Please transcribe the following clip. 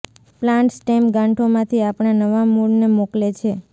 plant stem ગાંઠોમાંથી આપણા નવા મૂળને મોકલે છે